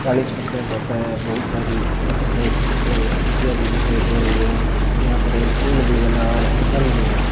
चालीस परसेंट होता है बहोत सारी मोटरसाइकिल एवं स्कूटीयां भी दिखाई दे रही हैं यहां पर एक पूल भी बना हुआ है स्तंभ भी है।